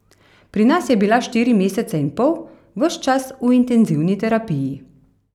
Pri nas je bila štiri mesece in pol, ves čas v intenzivni terapiji.